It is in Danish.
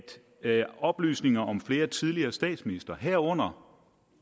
oplysninger om flere tidligere statsministre herunder